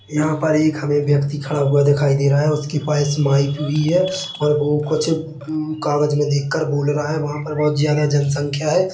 यहाँ पर एक हमे व्यक्ति खड़ा हुआ दिखाई दे रहा है उसके पास माइक भी है और वो कुछ हँ कागज मे देख कर बोल रहा है वहाँ पर बहुत ज्यादा जनसंख्या है